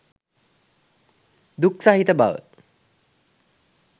දුක් සහිත බව